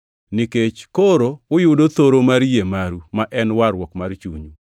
Nikech koro uyudo thoro mar yie maru, ma en warruok mar chunyu.